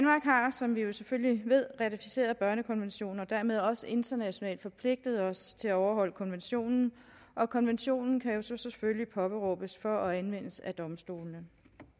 som vi jo selvfølgelig ved ratificeret børnekonventionen og dermed også internationalt forpligtet os til at overholde konventionen og konventionen kan så påberåbes og anvendes af domstolene